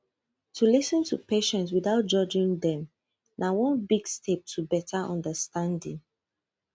to lis ten to patient without judging dem na one big step to better understanding